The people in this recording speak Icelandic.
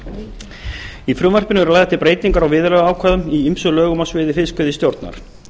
í frumvarpinu eru lagðar til breytingar á viðurlagaákvæðum í ýmsum lögum á sviði fiskveiðistjórnar